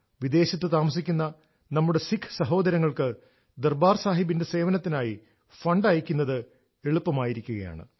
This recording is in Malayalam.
വിദേശത്ത് താമസിക്കുന്ന നമ്മുടെ സിഖ് സഹോദരങ്ങൾക്ക് ദർബാർ സാഹിബിന്റെ സേവനത്തിനായി ഫണ്ട് അയയ്ക്കുന്നത് എളുപ്പമായിരിക്കുകയാണ്